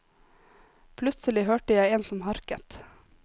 Plutselig hørte jeg en som harket.